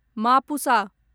Mapusa